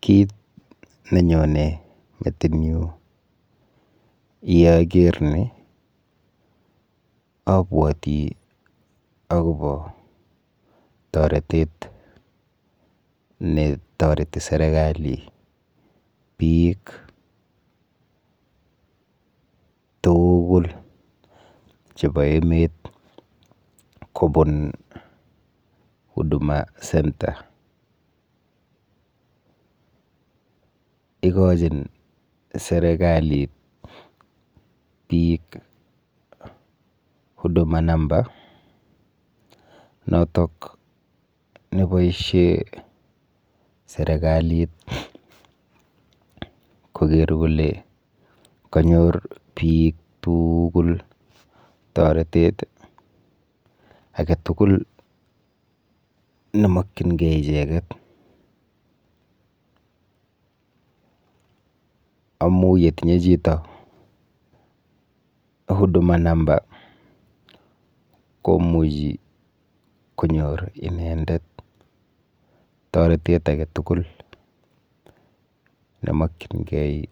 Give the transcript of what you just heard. Kit nenyone metinyu yeaker ni abwoti akopo toretet netoreti serikali biik tuugul chepo emet kobun Huduma center. Ikochin serikalit biik Huduma number notok neboishe serikalit koker kole kanyor biik tuugul toretet aketugul nemokchingei icheket amu yetinye chito Huduma number komuchi konyor inendet toretet aketugul nemokchingei